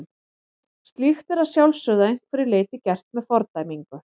Slíkt er að sjálfsögðu að einhverju leyti gert með fordæmingu.